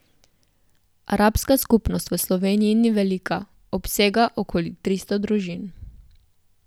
Arabska skupnost v Sloveniji ni velika, obsega okoli tristo družin.